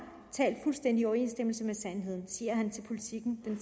talt fuldstændig i overensstemmelse med sandheden siger han til politiken den